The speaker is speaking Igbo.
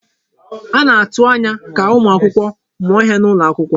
A na-atụ anya ka ụmụ akwụkwọ mụọ ihe n'ụlọ akwụkwọ.